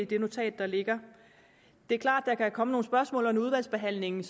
det notat der ligger det er klart at der kan komme nogle spørgsmål under udvalgsbehandlingen